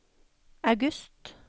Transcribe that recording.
august